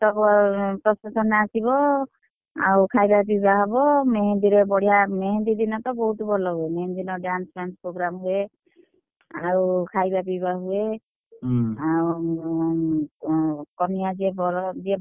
procession ରେ ଆସିବ, ଆଉ ଖାଇବା ପିଇବା ହବ ମେହେନ୍ଦୀ ରେ ବଢିଆ ମେହେନ୍ଦୀ ଦିନ ତ ବହୁତ୍ ଭଲ ହୁଏ। ମେହେନ୍ଦୀ ଦିନ dance ଫ୍ୟାନସ program ହୁଏ, ଆଉ ଖାଇବା ପିଇବା ହୁଏ। ଉମ୍ ଆଉ କନିଆ ଯିଏ ବର ଯିଏ ~ବା,